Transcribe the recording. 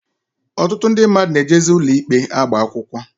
Ọtụtụ ndị mmadụ na-ejezi n'ụlọikpe agba akwụkwọ